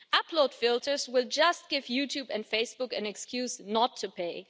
Upload filters will just give YouTube and Facebook an excuse not to pay.